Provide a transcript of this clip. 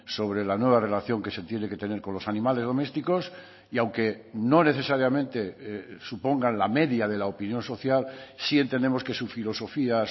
sobre la nueva relación que se tiene que tener con los animales domésticos y aunque no necesariamente supongan la media de la opinión social sí entendemos que su filosofía